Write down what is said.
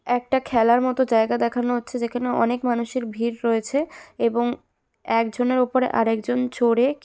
একটা খেলার মত জায়গা দেখানো হচ্ছে যেখানে অনেক মানুষের ভিড় রয়েছে এবং একজনের ওপর আরেক জন চড়ে--